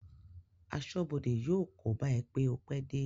Aṣọ́bọdè yóò kóbá ẹ pé o pẹ́ dé